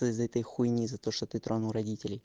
то из-за этой хуйни за то что ты тронул родителей